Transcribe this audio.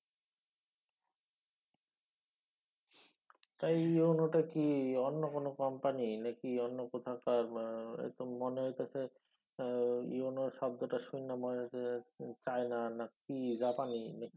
তা এই EON টা কি অন্য কোনও company অন্য কোথাকার বা এত মনে হইতেসে মানে EON শব্দটা শুইনা মনে হইতেসে চায়না না কি জাপানী।